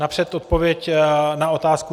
Napřed odpověď na otázku.